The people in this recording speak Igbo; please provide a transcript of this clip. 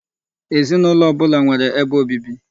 Ezinụlọ ọbụla nwere ebe obibi.